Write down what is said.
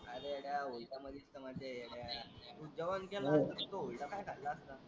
अरे येड्या हुरड्यामध्येच तर मजा आहे येड्या. तू जेवण केला असता तर हुरडा काय खाल्ला असता?